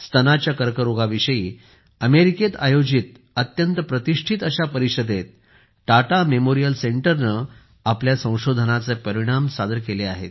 स्तनाच्या कर्करोगाविषयी अमेरिकेत आयोजित अत्यंत प्रतिष्ठित परिषदेत टाटा मेमोरियल सेंटरने आपल्या संशोधनाचे परिणाम सादर केले आहेत